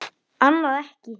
Annað ekki.